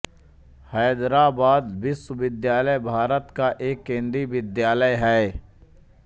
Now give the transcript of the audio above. हैदराबाद विश्वविद्यालय भारत का एक केन्द्रीय विश्वविद्यालय है